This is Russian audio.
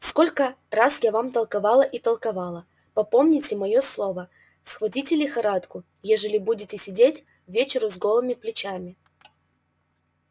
сколько раз я вам толковала и толковала попомните моё слово схватите лихорадку ежели будете сидеть ввечеру с голыми плечами